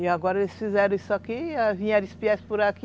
E agora eles fizeram isso aqui, vieram por aqui